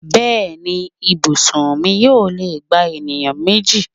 Bẹ́ẹ̀ni, ibùsùn mi yóò lè gba ènìyàn méjì